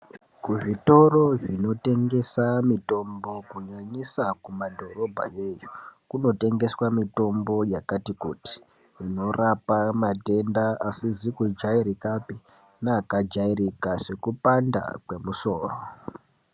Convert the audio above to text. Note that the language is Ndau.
Kuzvitoro zvinotengese mitombo kunyanyisa kumadhorobha yeyo kunotengeswa mitombo yakati kuti inorapa matenda asizi kujairikapi neakajairika sekupanda kwemusoro.